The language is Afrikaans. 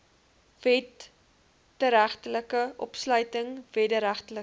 wederregtelike opsluiting wederregtelike